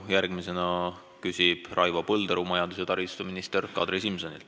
Järgmisena küsib Raivo Põldaru majandus- ja taristuminister Kadri Simsonilt.